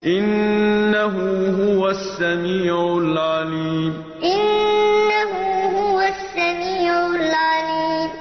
إِنَّهُ هُوَ السَّمِيعُ الْعَلِيمُ إِنَّهُ هُوَ السَّمِيعُ الْعَلِيمُ